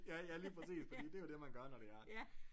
Ja ja lige præcis fordi det jo det man gør når det er